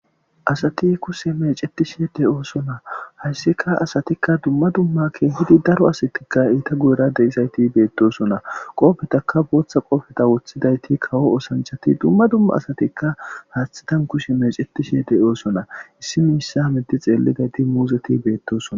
Asati kusse mecetishi de7oosona hayssika asatikka dumma dummakke hidi daro asatikka iita guera deyisayti beettosona qoofetaka booththa qoofeta woththidayti kawo osanchati dumma dumma asatikka haaththitan kushe mecetishe de7oosona issi miissa midi xeellidayti muuzeti beettosona